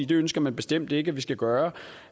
det ønsker man bestemt ikke at vi skal gøre